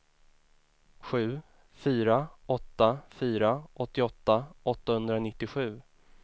sju fyra åtta fyra åttioåtta åttahundranittiosju